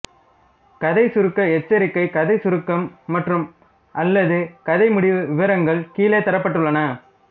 கதைச்சுருக்க எச்சரிக்கை கதைச்சுருக்கம் மற்றும்அல்லது கதை முடிவு விவரங்கள் கீழே தரப்பட்டுள்ளன